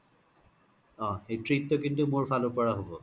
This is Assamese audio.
ওহ সেই treat তো কিন্তু মুৰ ফলৰ ৰ পৰা হ'ব